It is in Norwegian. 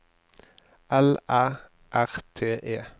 L Æ R T E